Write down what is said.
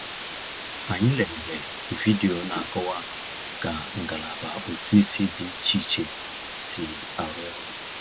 Anyị lelere vidiyo na-akọwa ka ngalaba ụtụisi dị iche iche si arụ ọrụ.